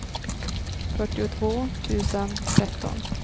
fyrtiotvå tusen tretton